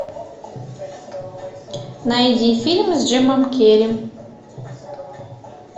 найди фильм с джимом керри